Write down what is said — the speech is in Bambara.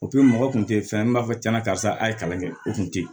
mɔgɔ kun te fɛn ye min b'a fɔ tiɲɛna karisa a ye kalan kɛ o kun tɛ ye